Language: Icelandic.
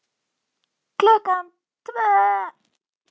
Klukkan tvö.